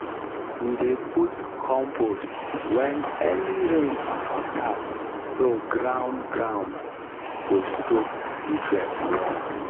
we dey put compost? when early rain start so ground ground go soak nutrient well.